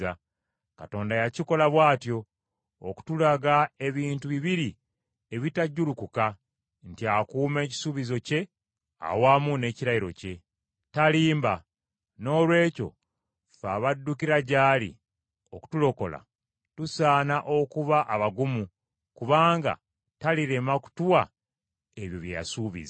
Katonda yakikola bw’atyo, okutulaga ebintu bibiri ebitajjulukuka, nti akuuma ekisuubizo kye awamu n’ekirayiro kye. Talimba. Noolwekyo ffe abaddukira gy’ali okutulokola, tusaana okuba abagumu kubanga talirema kutuwa ebyo bye yasuubiza.